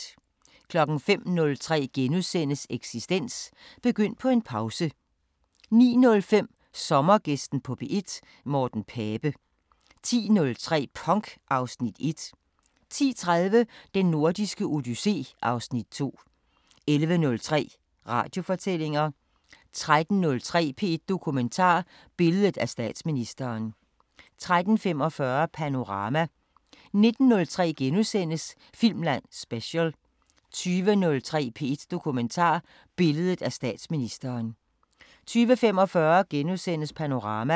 05:03: Eksistens: Begynd på en pause * 09:05: Sommergæsten på P1: Morten Pape 10:03: Punk (Afs. 1) 10:30: Den Nordiske Odyssé (Afs. 2) 11:03: Radiofortællinger 13:03: P1 Dokumentar: Billedet af statsministeren 13:45: Panorama 19:03: Filmland Special * 20:03: P1 Dokumentar: Billedet af statsministeren 20:45: Panorama *